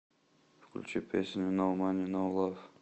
включи песню ноу мани ноу лав